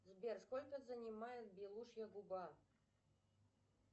сбер сколько занимает белушья губа